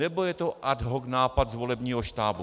Nebo je to ad hoc nápad z volebního štábu?